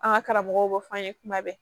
An ka karamɔgɔw b'a fɔ an ye kuma bɛɛ